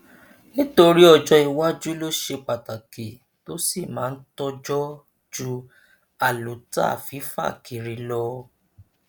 nítorí ọjọ iwájú ló ṣe pàtàkì tó sì máa tọjọ ju àlùtà fífà kiri lọ